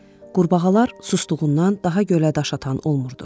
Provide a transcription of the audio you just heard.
Qurbağalar susduğundan daha gölə daş atan olmurdu.